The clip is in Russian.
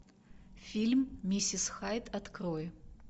фильм миссис хайд открой